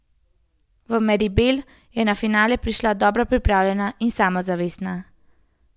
V Meribel je na finale prišla dobro pripravljena in samozavestna.